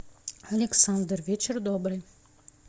александр вечер добрый